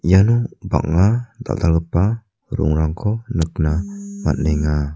iano bang·a dal·dalgipa ro·ongrangko nikna man·enga.